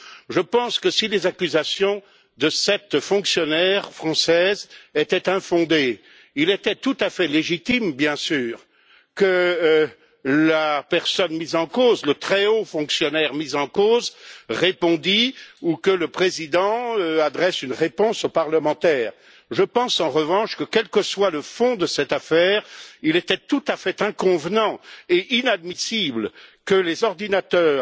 Je pense que si les accusations de cette fonctionnaire française étaient infondées, il était tout à fait légitime, bien sûr, que la personne mise en cause le très haut fonctionnaire mis en cause répondît ou que le Président adresse une réponse aux parlementaires. Je pense, en revanche que, quel que soit le fond de cette affaire, il était tout à fait inconvenant et inadmissible que les ordinateurs